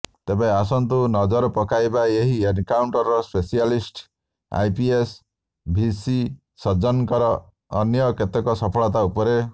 ତେବେ ଆସନ୍ତୁ ନଜର ପକାଇବା ଏହି ଏନକାଉଣ୍ଟର ସ୍ପେସିଆଲିଷ୍ଟି ଆଇପିଏସ୍ ଭିସି ସଜ୍ଜନରଙ୍କ ଅନ୍ୟ କେତେକ ସଫଳତା ଉପରେ